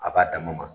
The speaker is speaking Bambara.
A b'a dama ma